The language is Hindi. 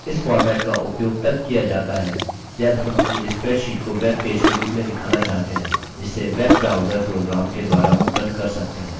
इस format का उपयोग तब किया जाता है जब हम अपनी spreadsheet को web पेज के रूप में दिखाना चाहते हैं जिसे web browser program के द्वारा opened कर सकते हैं